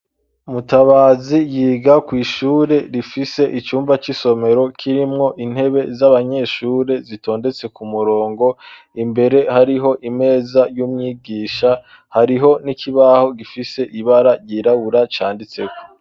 mutabazi yiga kwi, shure rifise icumba c'isomero kirimwo intebe z'abanyeshure zitondetse ku murongo imbere hariho imeza y'umwigisha hariho n'ikibaho gifise ibara ryirabura canditseho